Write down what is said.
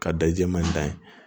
Ka da jɛman in dan ye